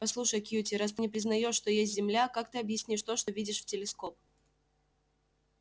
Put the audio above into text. послушай кьюти раз ты не признаешь что есть земля как ты объяснишь то что видишь в телескоп